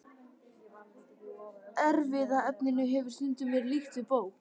Erfðaefninu hefur stundum verið líkt við bók.